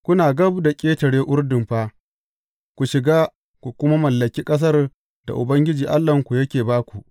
Kuna gab da ƙetare Urdun fa, ku shiga, ku kuma mallaki ƙasar da Ubangiji Allahnku yake ba ku.